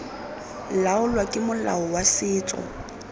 laolwa ke molao wa setso